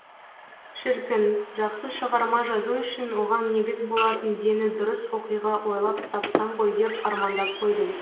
шіркін жақсы шығарма жазу үшін оған негіз болатын дені дұрыс оқиға ойлап тапсам ғой деп армандап қойдым